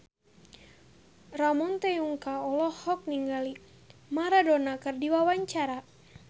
Ramon T. Yungka olohok ningali Maradona keur diwawancara